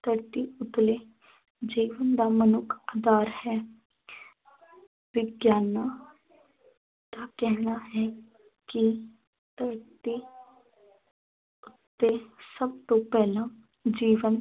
ਧਰਤੀ ਉੱਤਲੇ ਜੀਵਨ ਦਾ ਮਨੁੱਖ ਦਾਰ ਹੈ ਵਿਗਿਆਨਾਂ ਦਾ ਕਹਿਣਾ ਹੈ ਕਿ ਧਰਤੀ ਉੱਤੇ ਸਭ ਤੋਂ ਪਹਿਲਾਂ ਜੀਵਨ